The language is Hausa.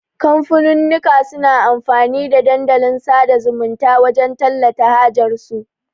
kamfanunnuka suna amfani da Dandalin sada zumunta wajan tallata hajar su